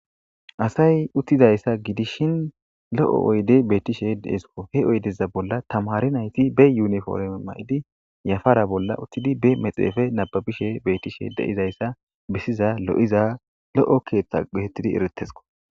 Asay uttizayssa gidishin lo7o oyde beettishe deesko he oydeza bolla tamari nayti be yuniforme ma7idi yafara bolla uttidi be mexeefe nababishe beetishe deizayssa besiza lo7iza lo7o keeththa gehetidi eretesko.